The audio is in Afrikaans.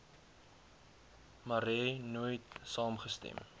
marais nooit saamgestem